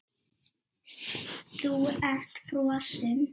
Þú ert frosin.